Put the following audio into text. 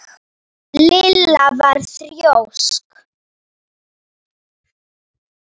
Lilla var þrjósk.